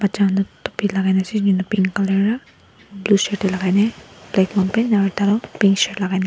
topi lagaina ase pink color blue shirt lagai ne black long pant aro ekta tu pink shirt lagaina ase.